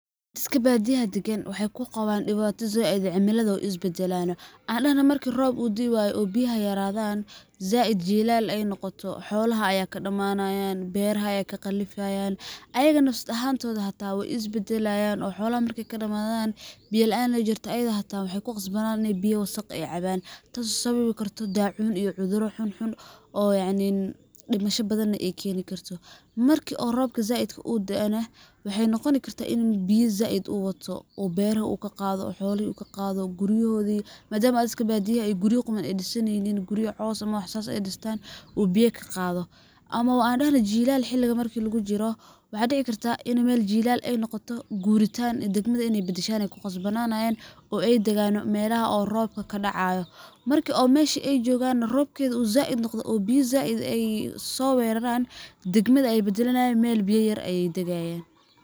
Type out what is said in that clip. Dadka badiyaha dagan waxay kuqawan dibata zaid, cimilada wey isbadalana, an dahno marku rob uu dii wayo biyaha yaradan zaid jilal ay noqoto, xolaha ayaa kadamanayan, beraha ayaa kaqalifayan, ayaga naf ahantodha hata way isbadalayan, oo xolaha markay kadamadan biyo laanta jirto ayadha hata waxay kuqasbanani biyo wasaq ah in ay caban, tas oo sababi dacun iyo cuduro xun xun yacnidimasho badhan na ay keni karto. Marki oo robka zaid eh daoo na waxay noqoni kartah in uu biyo zaid uu wato, u beraha uu qado , u xolaha ukaqado, guriyahodi hadana wa iskabadiya guriya quman disaneynin, guriya caws ama wax sas ay distan oo biya kaqado, ama ba an dahno jilal xiliga lugujiro waxaa ini mel jilal ay noqoto guritan degmada in ay badashan ay kuqasbananayan oo ay dagan melaha oo robka kadacayo, marki oo meshi ay jogan robkedu zaid noqdho oo biyo zaid ay usoweraran, degmada ay badalanayan, mel biya yar ay dagayan.